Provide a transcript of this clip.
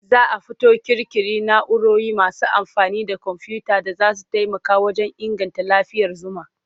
Za a fito ƙirƙiri na'urori masu amfani da komfuyuta da za su taimaka wajen inganta lafiyar zuma.